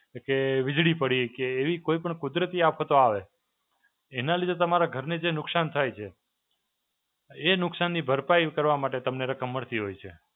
કે વીજળી પડી, કે એવી કોઈ પણ કુદરતી આફતો આવે, એના લીધે તમારા ઘરને જે નુકસાન થાય છે, એ નુકસાનની ભરપાઈ કરવા માટે તમને રકમ મળતી હોય છે.